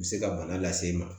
U bɛ se ka bana lase e ma